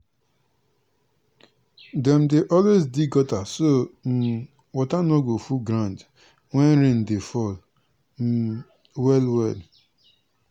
dem dey always dig gutter so um water no go full ground when rain dey fall um well well.